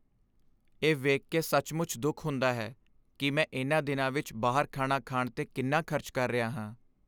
ਇਹ ਵੇਖ ਕੇ ਸੱਚਮੁੱਚ ਦੁੱਖ ਹੁੰਦਾ ਹੈ ਕਿ ਮੈਂ ਇਨ੍ਹਾਂ ਦਿਨਾਂ ਵਿੱਚ ਬਾਹਰ ਖਾਣਾ ਖਾਣ 'ਤੇ ਕਿੰਨਾ ਖ਼ਰਚ ਕਰ ਰਿਹਾ ਹਾਂ।